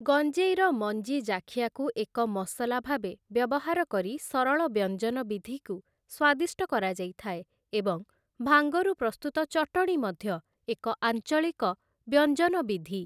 ଗଞ୍ଜେଇର ମଞ୍ଜି ଜାଖିଆକୁ ଏକ ମସଲା ଭାବେ ବ୍ୟବହାର କରି ସରଳ ବ୍ୟଞ୍ଜନ ବିଧିକୁ ସ୍ୱାଦିଷ୍ଟ କରାଯାଇଥାଏ, ଏବଂ ଭାଙ୍ଗରୁ ପ୍ରସ୍ତୁତ ଚଟଣୀ ମଧ୍ୟ ଏକ ଆଞ୍ଚଳିକ ବ୍ୟଞ୍ଜନ ବିଧି ।